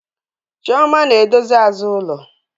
Chioma na-edozi azụ ulo